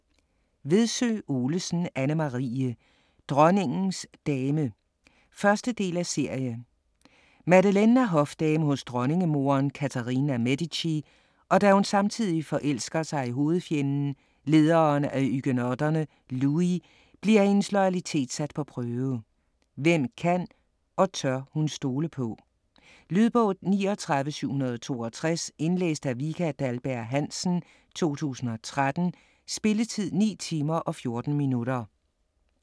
Vedsø Olesen, Anne-Marie: Dronningens dame 1. del af serie. Madeleine er hofdame hos dronningemoderen Catherine af Medici, og da hun samtidig forelsker sig i hovedfjenden, lederen af huguenotterne Louis, bliver hendes loyalitet sat på prøve. Hvem kan og tør hun stole på? Lydbog 39762 Indlæst af Vika Dahlberg-Hansen, 2013. Spilletid: 9 timer, 14 minutter.